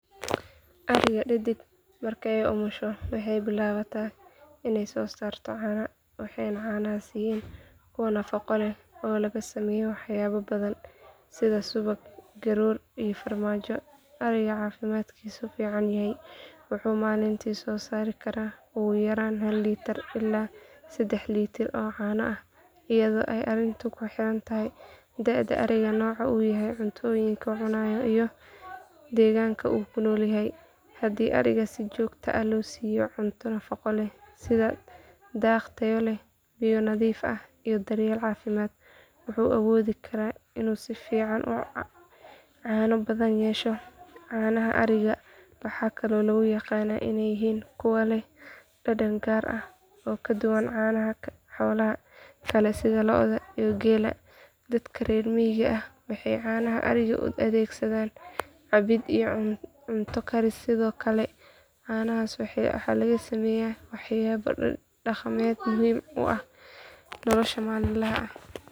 Ariga uu qofku leeyahay ayaa awood u leh inuu soo saaro caano fara badan oo ku xirnaan karta dhowr arrimood oo muhiim ah sida da’da ariga, caafimaadkiisa, nooca uu ka tirsan yahay, cuntooyinka iyo daryeelka la siiyo, iyo xilliga sanadka. Guud ahaan, ari caafimaad qaba oo si wanaagsan loo quudiyey isla markaana daryeel wanaagsan lagu hayo, wuxuu soo saari karaa qiyaastii sedaax litir oo caano ah maalintii. Tani waxay ku xirnaan kartaa haddii uu yahay ari nuujinaya ilmo ama aan nuujinayn, maadaama ari nuujinaya uu caadi ahaan soo saaro caano badan si uu ugu quudiyo ilmaha.